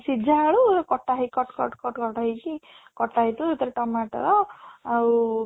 ସିଝା ଆଳୁ କଟା ହେଇକି cut cut cut cut ହେଇଛି କଟା ହେଇଥିବ ସେଥିରେ tomato ଆଉ